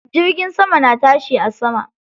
Jirgin sama na tashi a sama.